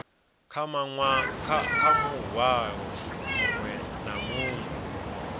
kha muhwalo muṅwe na muṅwe